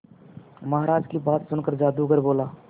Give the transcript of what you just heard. महाराज की बात सुनकर जादूगर बोला